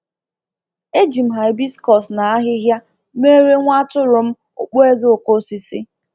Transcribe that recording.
Eji m hibiscus na ahịhịa merre nwa atụrụm okpueze okosisi